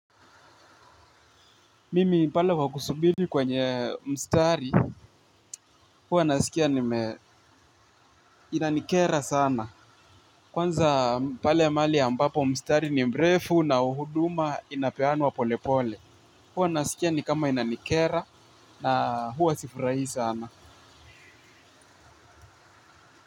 Mimi pale kwa kusubiri kwenye mstari, huwa nasikia inanikera sana. Kwanza pale ya mahali ambapo mstari ni mrefu na huduma inapeanwa polepole. Huwa nasikia ni kama inanikera na huwa sifurahi sana.